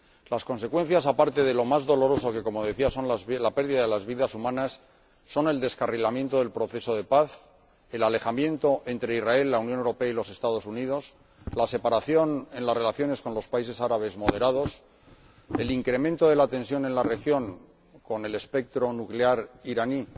Las consecuencias, aparte de lo más doloroso, que, como decía, son la pérdida de vidas humanas, son el descarrilamiento del proceso de paz, el alejamiento entre Israel, la Unión Europea y los Estados Unidos, la separación en las relaciones con los países árabes moderados, el incremento de la tensión en la región, con el espectro nuclear iraní